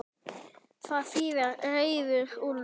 Það þýðir reiður úlfur.